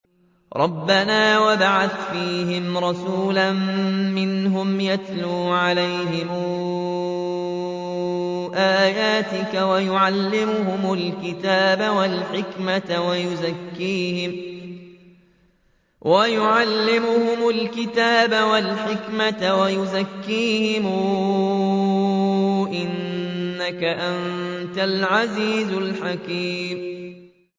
رَبَّنَا وَابْعَثْ فِيهِمْ رَسُولًا مِّنْهُمْ يَتْلُو عَلَيْهِمْ آيَاتِكَ وَيُعَلِّمُهُمُ الْكِتَابَ وَالْحِكْمَةَ وَيُزَكِّيهِمْ ۚ إِنَّكَ أَنتَ الْعَزِيزُ الْحَكِيمُ